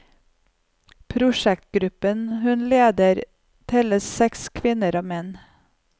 Prosjektgruppen hun leder, teller seks kvinner og menn.